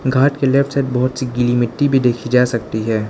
घाट के left side बहोत सी गीली मिट्टी भी देखी जा सकती है।